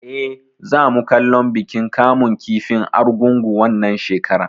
Eh, za mu kallon bikin kamun kifin Argungu wannan shekarar